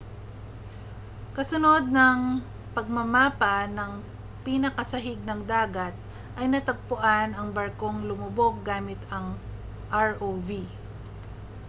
kasunod ng pagmamapa ng pinakasahig ng dagat ay natagpuan ang barkong lumubog gamit ang rov